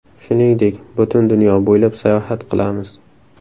Shuningdek, butun dunyo bo‘ylab sayohat qilamiz.